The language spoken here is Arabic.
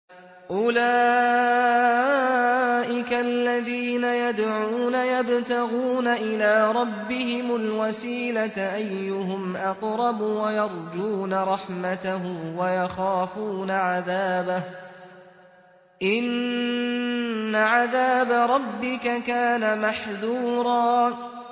أُولَٰئِكَ الَّذِينَ يَدْعُونَ يَبْتَغُونَ إِلَىٰ رَبِّهِمُ الْوَسِيلَةَ أَيُّهُمْ أَقْرَبُ وَيَرْجُونَ رَحْمَتَهُ وَيَخَافُونَ عَذَابَهُ ۚ إِنَّ عَذَابَ رَبِّكَ كَانَ مَحْذُورًا